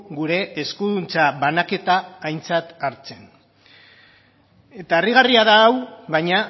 gure eskuduntza banaketa aintzat hartzen eta harrigarria da hau baina